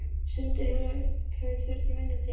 Stundum hefur þurft minna til.